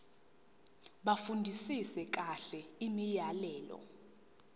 bafundisise kahle imiyalelo